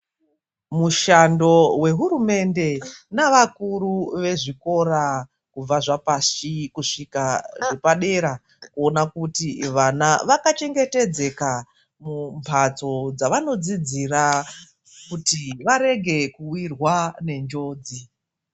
Mushando wehurumende nevakuru vezvikora kubva zvapashi, kusvika zvapadera kuona kuti vana vakachengetedzeka mumhatso dzawanodzidzira kuti varege kuwirwa nenjodzi.